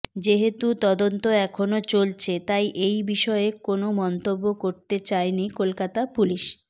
যেহেতু তদন্ত এখনও চলছে তাই এই বিষয়ে কোনও মন্তব্য করতে চায়নি কলকাতা পুলিস